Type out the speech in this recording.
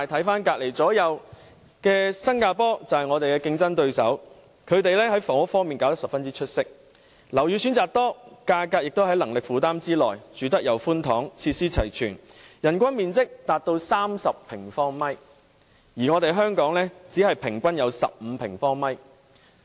反觀鄰近地區例如我們的競爭對手新加坡，他們在房屋方面做得十分出色，樓宇選擇多，價格亦在能力負擔之內，居住環境寬敞，設施齊全，人均居住面積達30平方米，而香港只有15平方米。